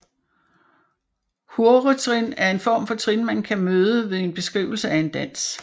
Hurretrin er en form for trin man kan møde ved en beskrivelse af en dans